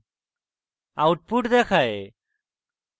output দেখায়